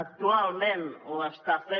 actualment ho està fent